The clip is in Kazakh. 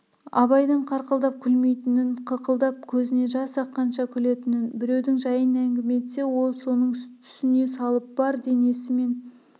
абайдың қарқылдап күлмейтінін қықылдап кезінен жас аққанша күлетінін біреудің жайын әңгіме етсе ол соның түсіне салып бар денесімен